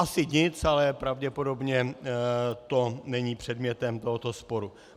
Asi nic, ale pravděpodobně to není předmětem tohoto sporu.